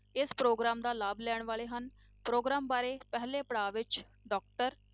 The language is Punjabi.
ਇਸ ਪ੍ਰੋਗਰਾਮ ਦਾ ਲਾਭ ਲੈਣ ਵਾਲੇ ਹਨ, ਪ੍ਰੋਗਰਾਮ ਬਾਰੇ ਪਹਿਲੇ ਪੜਾਅ ਵਿੱਚ doctor